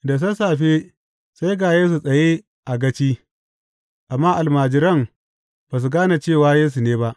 Da sassafe, sai ga Yesu tsaye a gaci, amma almajiran ba su gane cewa Yesu ne ba.